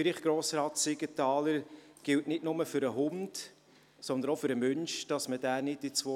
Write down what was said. Wer die Motion «Wiedereinführung des obligatorischen Hundehalterkurses» annehmen will, stimmt Ja, wer dies ablehnt, stimmt Nein.